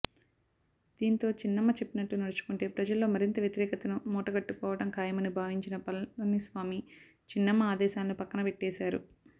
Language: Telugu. దీంతో చిన్నమ్మ చెప్పినట్లు నడుచుకుంటే ప్రజల్లో మరింత వ్యతిరేకతను మూటగట్టుకోవడం ఖాయమని భావించిన పళనిస్వామి చిన్నమ్మ ఆదేశాలను పక్కనబెట్టేశారు